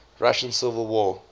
russian civil war